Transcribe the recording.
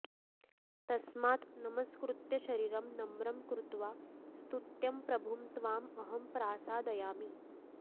तस्मात् नमस्कृत्य शरीरं नम्रं कृत्वा स्तुत्यं प्रभुं त्वाम् अहं प्रसादयामि